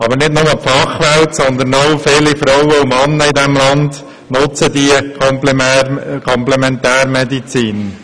Aber nicht nur die Fachwelt, sondern auch viele Frauen und Männer in diesem Land nutzen die Komplementärmedizin.